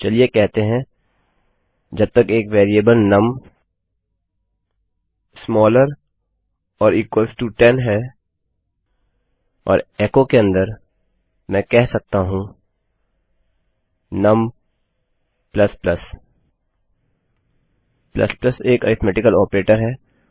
चलिए कहते हैं जब तक एक variable num is smaller or equal to 10 num 10 से छोटा या बराबर है और एचो के अन्दर मैं कह सकता हूँ नुम एक अरिथ्मेटिकल ऑपरेटर है